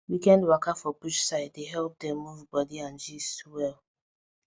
weekend waka for bush side dey help dem move body and gist well